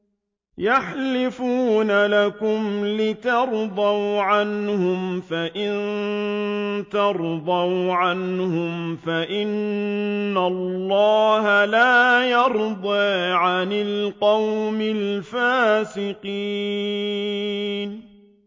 يَحْلِفُونَ لَكُمْ لِتَرْضَوْا عَنْهُمْ ۖ فَإِن تَرْضَوْا عَنْهُمْ فَإِنَّ اللَّهَ لَا يَرْضَىٰ عَنِ الْقَوْمِ الْفَاسِقِينَ